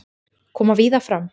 Koma víða fram